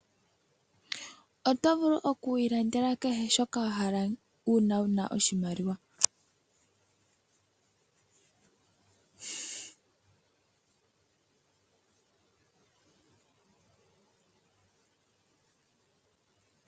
Oto vulu oku ilandela kehe shoka wahala uuna wuma oshimaliwa.